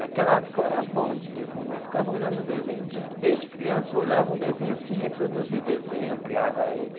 Naquela época eu era bom de desenho, eu ficava olhando um desenho de desde criança, eu olhava um desenho assim, reproduzia o desenho, ampliava ele.